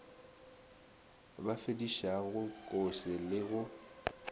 a befedišago kose le go